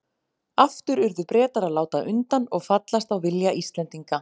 Aftur urðu Bretar að láta undan og fallast á vilja Íslendinga.